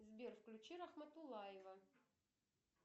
сбер включи рахматуллаева